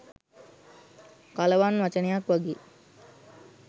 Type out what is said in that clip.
කලවන් වචනයක් වගෙයි.